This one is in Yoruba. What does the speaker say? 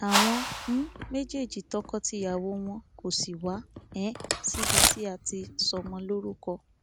àwọn um méjèèjì tọkọtìyàwó wọn kò sì wá um síbi tí a ti sọmọ lórúkọ